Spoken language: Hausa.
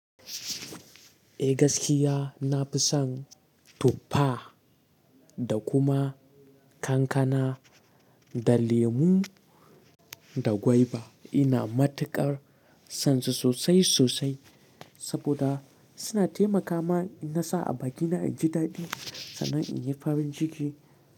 Eh gaskiya nafi son tuffa da kuma kankana da lemu da gwaiba. Ina matuƙar son su sosai sosai saboda suna taimaka ma na sa a bakina inji daɗi sannan in yi farin jiki.